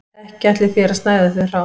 Ekki ætlið þér að snæða þau hrá